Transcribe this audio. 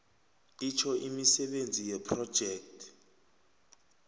itjho imisebenzi yephrojekhthi